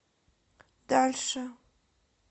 дальше